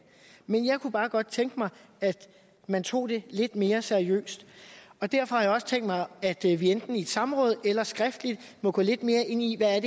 men jeg kunne bare godt tænke mig at man tog det lidt mere seriøst og derfor har jeg også tænkt mig at vi vi enten i et samråd eller skriftligt må gå lidt mere ind i hvad